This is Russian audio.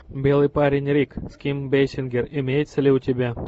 белый парень рик с ким бейсингер имеется ли у тебя